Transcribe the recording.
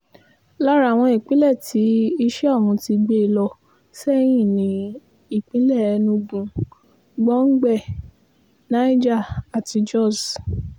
lára àwọn ìpínlẹ̀ tí iṣẹ́ ọ̀hún ti gbé e lọ sẹ́yìn ni ìpínlẹ̀ enugu gbọ̀ngbẹ niger àti jos